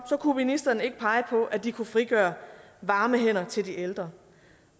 kunne ministeren ikke pege på at vi kunne frigøre varme hænder til de ældre